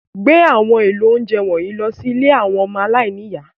Gbé àwọn èlò oúnjẹ wọ̀nyí lọ sí ilé àwọn ọmọ aláìní ìyá.